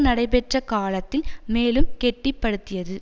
நடைபெற்ற காலத்தில் மேலும் கெட்டிப்படுத்தியது